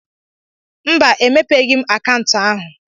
Mba, emepeghị m akaụntụ ahụ.